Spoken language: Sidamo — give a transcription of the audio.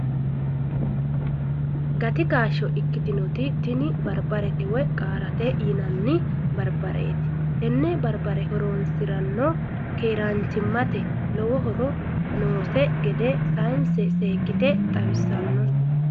Gati kaashsho ikkitinoti tini barbarete woy qaarete yinanni barbareeti. Tenne barbare horoonsiranno keeraanchimate lowo horo noose gede saayiinse seekkite buuxissanno.